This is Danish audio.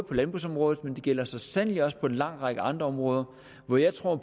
på landbrugsområdet men det gælder så sandelig også på en lang række andre områder hvor jeg tror